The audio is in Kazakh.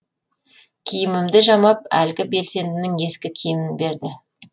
киімімді жамап әлгі белсендінің ескі киімін берді